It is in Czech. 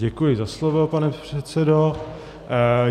Děkuji za slovo, pane předsedo.